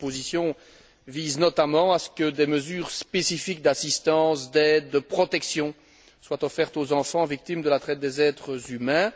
Ces propositions visent notamment à ce que des mesures spécifiques d'assistance, d'aide, de protection soient offertes aux enfants victimes de la traite des êtres humains.